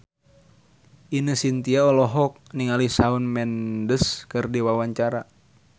Ine Shintya olohok ningali Shawn Mendes keur diwawancara